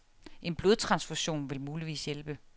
En blodtransfusion vil muligvis hjælpe.